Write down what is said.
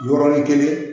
Yɔrɔnin kelen